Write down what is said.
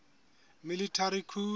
military coup